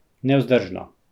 Nevzdržno!